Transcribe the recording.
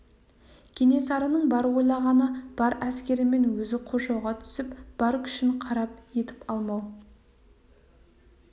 кенесарының бар ойлағаны бар әскерімен өзі қоршауға түсіп бар күшін қарап етіп алмау